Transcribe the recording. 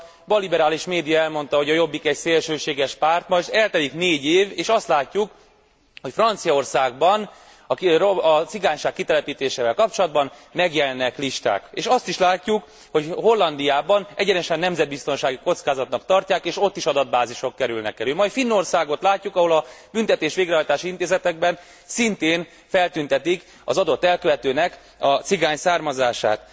Akkor a balliberális média elmondta, hogy a Jobbik egy szélsőséges párt, és eltelik négy év, és azt látjuk, hogy Franciaországban a cigányság kitelepítésével kapcsolatban megjelennek listák. És azt is látjuk, hogy Hollandiában egyenesen nemzetbiztonsági kockázatnak tartják, és ott is adatbázisok kerülnek elő. Majd Finnországot látjuk, ahol a büntetésvégrehajtási intézetekben szintén feltüntetik az adott elkövetőnek a cigány származását.